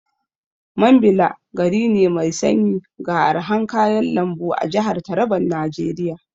Mambila gari ne mai sanyi ga arhan kayan lambu a jahar Taraban Najeriya.